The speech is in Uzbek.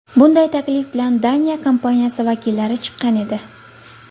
Bunday taklif bilan Daniya kompaniyasi vakillari chiqqan edi.